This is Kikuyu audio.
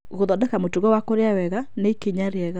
Gũthondeka mũtugo wa kũrĩa wega nĩ ikinya rĩega.